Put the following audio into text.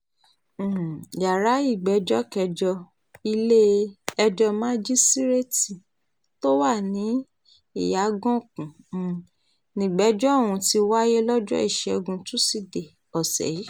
um yàrá ìgbẹ́jọ́ kẹjọ ilé-ẹjọ́ màjíṣíréètì tó wà ní ìyàgànkù um nígbèjò ọ̀hún ti wáyé lọ́jọ́ ìṣẹ́gun túṣídéé ọ̀sẹ̀ yìí